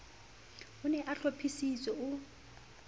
o ne a hlophisitse o